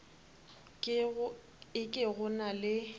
e ke go na le